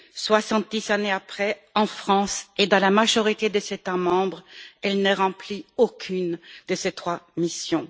Soixante dix ans plus tard, en France et dans la majorité des États membres, elle ne remplit aucune de ces trois missions.